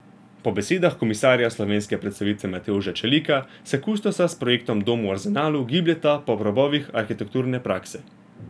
Po besedah komisarja slovenske predstavitve Matevža Čelika se kustosa s projektom Dom v Arzenalu gibljeta po robovih arhitekturne prakse.